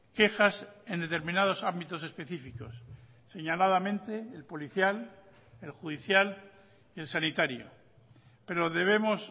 quejas en determinados ámbitos específicos señaladamente el policial el judicial y el sanitario pero debemos